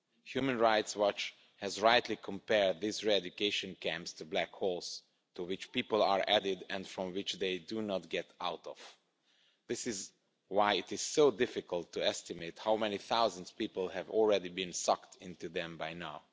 Human Rights Watch has rightly compared these re-education camps to black holes to which people are added and from which they do not get out. This is why it is so difficult to estimate how many thousands of people have already been sucked into them now.